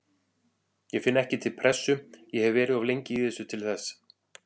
Ég finn ekki til pressu, ég hef verið of lengi í þessu til þess.